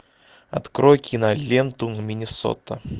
открой киноленту миннесота